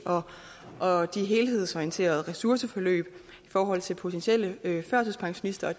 og de helhedsorienterede ressourceforløb i forhold til potentielle førtidspensionister